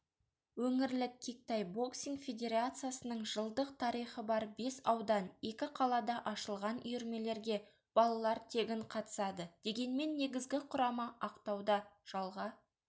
өңірлік кик-тай боксинг федерациясының жылдық тарихы бар бес аудан екі қалада ашылған үйірмелерге балалар тегін қатысады дегенмен негізгі құрама ақтауда жалға